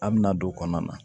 An bɛna don o kɔnɔna na